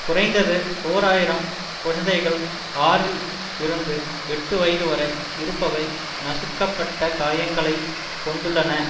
குறைந்தது ஓர் ஆயிரம் குழந்தைகள் ஆறில் இருந்து எட்டு வயது வரை இருப்பவை நசுக்கப்பட்ட காயங்களைக் கொண்டுள்ளன